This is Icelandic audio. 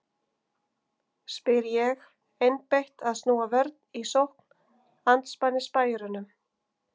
spyr ég, einbeitt að snúa vörn í sókn andspænis spæjurunum.